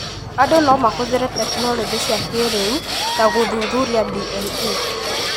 Andũ no mahũthĩre tekinolonjĩ cia kĩĩrĩu ta gũthuthuria DNA